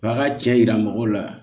A ka cɛ yira mɔgɔw la